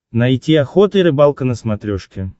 найти охота и рыбалка на смотрешке